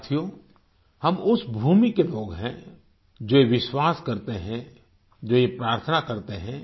साथियो हम उस भूमि को लोग हैं जो ये विश्वास करते हैं जो ये प्रार्थना करते हैं